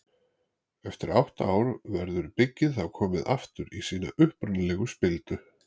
Eftir átta ár verður byggið þá komið aftur í sína upprunalegu spildu.